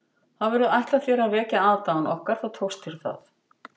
Hafirðu ætlað þér að vekja aðdáun okkar þá tókst þér það